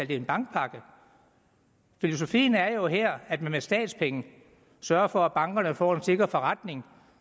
det en bankpakke filosofien er jo her at man med statspenge sørger for at bankerne får en sikker forretning